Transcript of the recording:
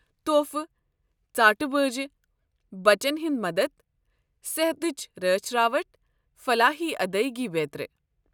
تحفہٕ، ژاٹہٕ بٲجہِ، بچن ہٖند مدتھ، صحتچہِ رٲچھ راوٹھ، فلاحی ادٲیگی بیترِ۔